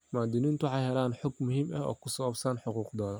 Muwaadiniintu waxay helaan xog muhiim ah oo ku saabsan xuquuqdooda.